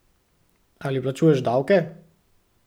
Ali plačuješ davke?